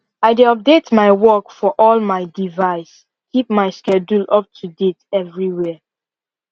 i dey update my work for all my device keep my schedule up to date everywhere